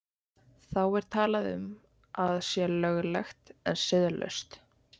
Þá er talað um að sé löglegt en siðlaust.